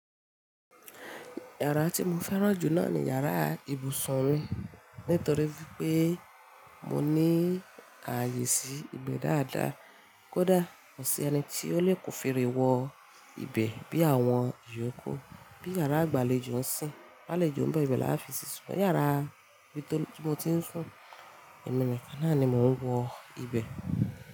Yàrá tí mo fẹ́ràn jù náà ni yàrá ibùsùn mi nítorí pé mo ní ààyè sí ibẹ̀ dáadáa. Kódà kò sí ẹni tí ó lè ko fere wọ ibẹ̀ bí àwọn yòókù. Bí yàrá ìgbàlejò ń sìn, àlejò ń bọ̀ ibẹ̀ láfi sí sún. Yàrá mi tó tí mo ti ń sùn, ẹ̀mí mi kán náà ni mò ń wọ ibẹ̀.